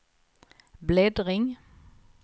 bläddring